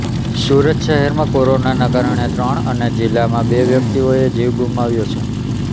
સુરત શહેરમાં કોરોનાના કારણે ત્રણ અને જિલ્લામાં બે વ્યક્તિઓએ જીવ ગુમાવ્યા છે